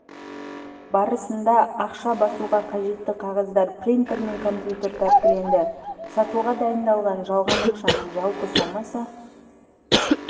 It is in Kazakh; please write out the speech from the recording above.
барысында ақша басуға қажетті қағаздар принтер мен компьютер тәркіленді сатуға дайындалған жалған ақшаның жалпы сомасы